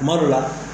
Kuma dɔ la